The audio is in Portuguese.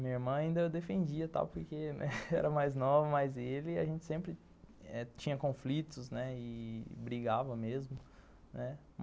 Minha irmã ainda eu defendia tal porque era mais nova, mas ele, a gente sempre tinha conflitos , né, e brigava mesmo.